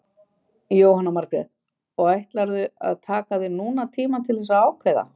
Jóhanna Margrét: Og ætlarðu að taka þér núna tíma til þess að ákveða?